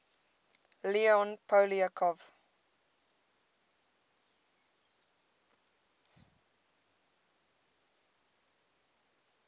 leon poliakov